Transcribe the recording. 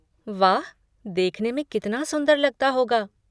वाह, देखने में कितना सुंदर लगता होगा।